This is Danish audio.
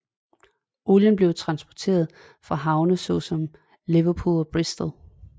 Olien blev transporteret fra havne såsom Liverpool og Bristol